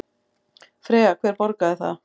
Freyja: Hver borgar það?